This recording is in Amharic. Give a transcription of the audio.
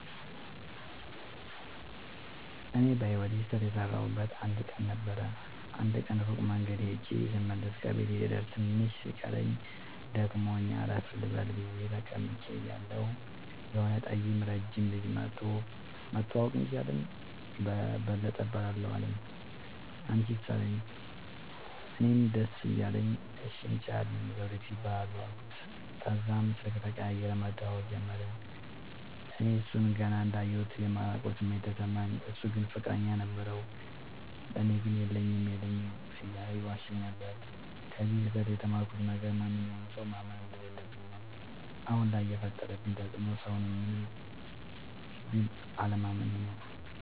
እኔ በህይወቴ ስህተት የሠረውበት አንድ ቀን ነበር። አንድ ቀን ሩቅ መንገድ ኸጀ ስመለስ ከቤቴ ልደርስ ትንሽ ሲቀረኝ ደክሞኝ አረፍ ልበል ብየ ተቀምጨ እያለሁ የሆነ ጠይም ረጅም ልጅ መኧቶ<< መተዋወቅ እንችላለን በለጠ እባላለሁ አንችስ አለኝ>> አለኝ። እኔም ደስ እያለኝ እሺ እንችላለን ዘዉዲቱ እባላለሁ አልኩት። ተዛም ስልክ ተቀያይረን መደዋወል ጀመርን። እኔ እሡን ገና እንዳየሁት የማላቀዉ ስሜት ተሰማኝ። እሡ ግን ፍቅረኛ ነበረዉ። ለኔ ግን የለኝም የለኝም እያለ ይዋሸኝ ነበር። ከዚ ስህተ ት የተማርኩት ነገር ማንኛዉንም ሠዉ ማመን እንደለለብኝ ነዉ። አሁን ላይ የፈጠረብኝ ተፅዕኖ ሠዉን ምንም ቢል አለማመኔ ነዉ።